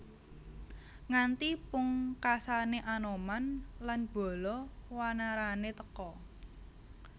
Nganti pungkasane Anoman lan bala wanarane teka